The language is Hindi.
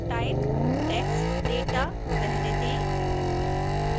type text data रहने दें